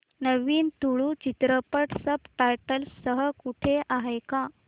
नवीन तुळू चित्रपट subtitles सह कुठे आहे का